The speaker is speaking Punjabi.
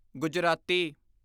ਗੁਜਰਾਤੀ